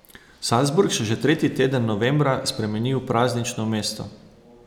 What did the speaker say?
Salzburg se že tretji teden novembra spremeni v praznično mesto.